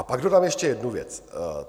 A pak dodám ještě jednu věc.